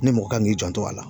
Ni mɔgɔ kan k'i janto a la.